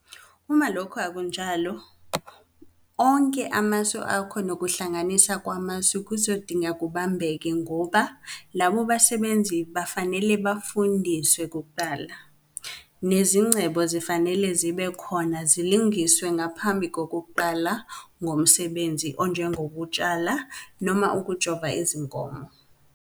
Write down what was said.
Uma lokhu akunjalo, onke amasu akho nokuhlanganisa kwamasu kuzodingeka kubambeke ngoba labo basebenzi bafanele bafundiswe kuqala, nezingcebo zifanele zibe khona zilungiswe ngaphambi kokuqala ngomsebenzi onjengokutshala noma ukujova izinkomo.